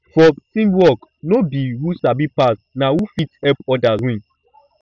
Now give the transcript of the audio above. for teamwork no be who sabi pass na who fit help others win